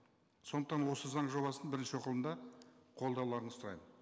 сондықтан осы заң жобасын бірінші оқылымда қолдауларыңызды сұраймын